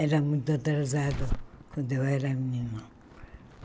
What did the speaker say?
Era muito atrasado quando eu era menina.